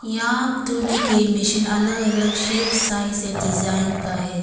यहां तौलने के मशीन अलग अलग शेप साइज और डिजाइन का है।